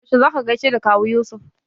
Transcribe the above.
Yaushe za ka gaishe da Kawu Yusuf?